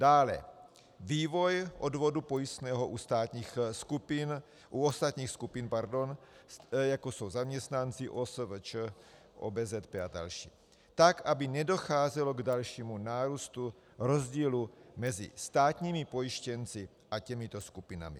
Dále vývoj odvodu pojistného u ostatních skupin, jako jsou zaměstnanci, OSVČ, OBZP a další, tak, aby nedocházelo k dalšímu nárůstu rozdílu mezi státními pojištěnci a těmito skupinami.